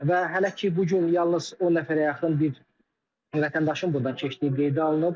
Və hələ ki bu gün yalnız o nəfərə yaxın bir vətəndaşın burdan keçdiyi qeydə alınıb.